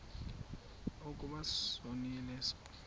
ukuba sonile sonke